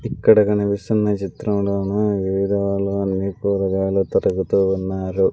ఇక్కడ కనిపిస్తున్న చిత్రంలోను వివిధ అన్నీ కూరగాయలు తరుగుతూ ఉన్నారు.